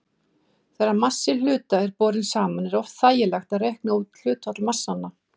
Þegar massi hluta er borinn saman er oft þægilegt að reikna út hlutfall massanna.